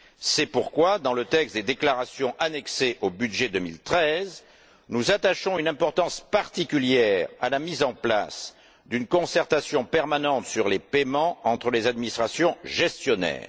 C'est pourquoi, dans le texte des déclarations annexées au budget 2013, nous attachons une importance particulière à la mise en place d'une concertation permanente sur les paiements entre les administrations gestionnaires.